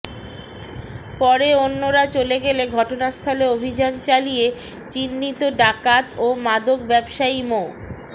পরে অন্যরা চলে গেলে ঘটনাস্থলে অভিযান চালিয়ে চিহ্নিত ডাকাত ও মাদক ব্যবসায়ী মো